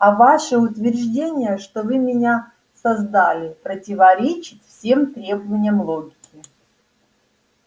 а ваше утверждение что вы меня создали противоречит всем требованиям логики